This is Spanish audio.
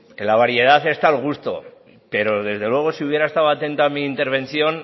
en la variedad está el gusto pero desde luego si hubiera estado atenta a mi intervención